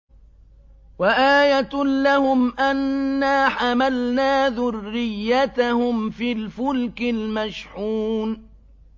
وَآيَةٌ لَّهُمْ أَنَّا حَمَلْنَا ذُرِّيَّتَهُمْ فِي الْفُلْكِ الْمَشْحُونِ